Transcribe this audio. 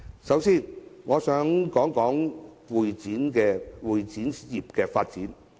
首先，我想談談會展業的發展。